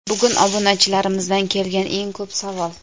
Bugun obunachilarimizdan kelgan eng ko‘p savol.